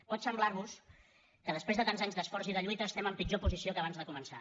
pot semblarvos que després de tants anys d’esforç i de lluita estem en pitjor posició que abans de començar